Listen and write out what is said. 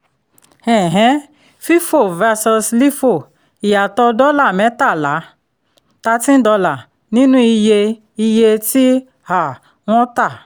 um fífò versus lífò: ìyàtọ̀ dọ́là mẹ́tàlá thirteen dollar nínú iye iye tí um wọ́n tà